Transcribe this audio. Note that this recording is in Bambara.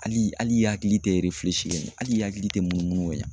Hali ali i hakili tɛ ali hakili tɛ munumunu ka ɲan.